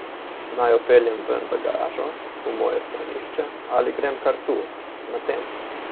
Naj jo peljem ven v garažo, v moje stranišče, ali grem kar tu, na tem?